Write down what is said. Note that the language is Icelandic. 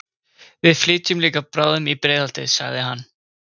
Við flytjum líka bráðum í Breiðholtið, sagði hann.